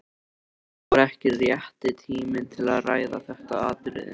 Nú var ekki rétti tíminn til að ræða þetta atriði.